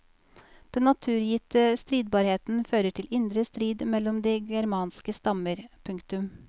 Den naturgitte stridbarheten fører til indre strid mellom de germanske stammer. punktum